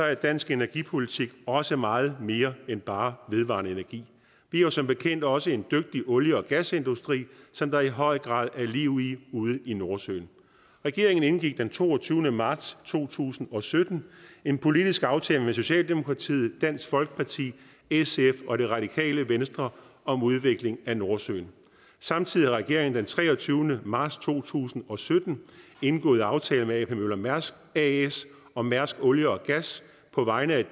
er dansk energipolitik også meget mere end bare vedvarende energi vi har som bekendt også en dygtig olie og gasindustri som der i høj grad er liv i ude i nordsøen regeringen indgik den toogtyvende marts to tusind og sytten en politisk aftale med socialdemokratiet dansk folkeparti sf og det radikale venstre om udvikling af nordsøen samtidig har regeringen den treogtyvende marts to tusind og sytten indgået aftale med ap møller mærsk as og mærsk olie og gas på vegne